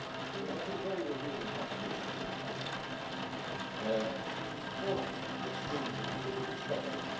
We had two very revealing contributions here tonight, from both extremes of the political spectrum.